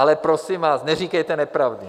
Ale prosím vás, neříkejte nepravdy.